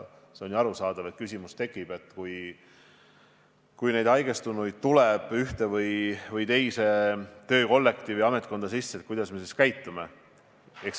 On ju arusaadav, et kui haigestunuid tuleb ühte või teise töökollektiivi või ametkonda, siis tekib küsimus, kuidas me edasi käitume.